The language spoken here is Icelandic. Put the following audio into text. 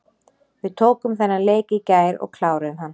Við tókum þennan leik í gær og kláruðum hann.